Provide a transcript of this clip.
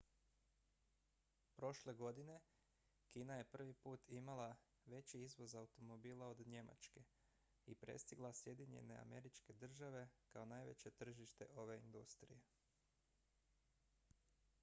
prošle godine kina je prvi put imala veći izvoz automobila od njemačke i prestigla sjedinjene američke države kao najveće tržište ove industrije